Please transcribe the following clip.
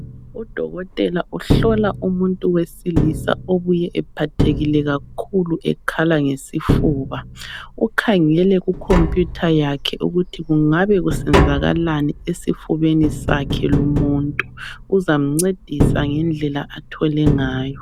Udokotela uhlola umuntu wesilisa obuye ephathekile kakhulu ekhala ngesifuba. Ukhangele ku computer yakhe ukuthi kungabe kusenzalalani esifubeni sakhe lumuntu. Uzamncedisa ngendlela athole ngayo.